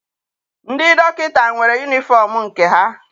Ndị dọkịta nwere yunifọm nke ha.